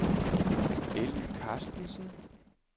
Elly Carstensen